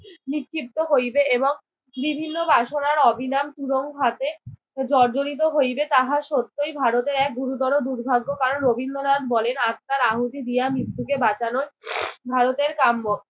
নিক্ষিপ্ত হইবে এবং বিভিন্ন বাসনার অভিলাম তুরঙ্ঘাতে জর্জরিত হইবে তাহা সত্যই ভারতের এক গুরুতর দুর্ভাগ্য। কারণ রবীন্দ্রনাথ বলেন, আত্মার আহূতি দিয়া মৃত্যুকে বাঁচানোর ভারতের কাম্য।